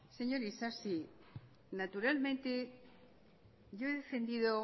señor isasi naturalmente yo he defendido